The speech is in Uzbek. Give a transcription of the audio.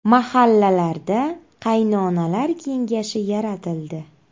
Mahallalarda qaynonalar kengashi yaratildi.